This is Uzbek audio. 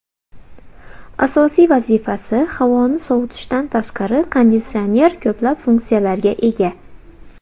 Asosiy vazifasi - havoni sovutishdan tashqari, konditsioner ko‘plab funksiyalarga ega.